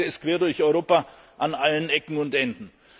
Da mangelt es quer durch Europa an allen Ecken und Enden.